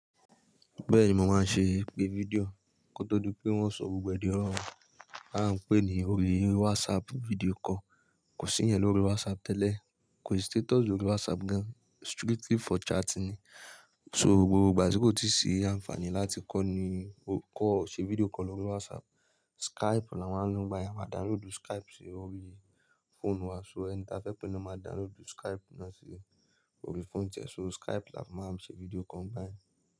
Bẹ́ẹ̀ni, mo máa ń ṣe ìpè fídíò kó tó dú pé wọ́n sọ gbogbo ẹ̀dínwó wọn. A ń pè é ní orí WhatsApp video call, kò sí yẹn lórí WhatsApp tẹ́lẹ̀. Kò sí status lórí WhatsApp gan-an, strictly for chatting ni. So gbogbo ìgbà tí kò tíì sí àǹfààní láti kọ́l ni o kọ́ọ̀ ọ̀ ṣẹ video call lórí WhatsApp. Skype làwọn máa ń lò báyìí, a máa download Skype sí orí phone wa. So ẹni tí a fẹ́ pé ló máa download Skype náà sí orí phone rẹ̀, so Skype làwọn máa ń ṣe video call ngbáyẹn.